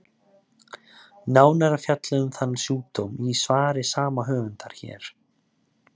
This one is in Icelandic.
Nánar er fjallað um þann sjúkdóm í svari sama höfundar, hér.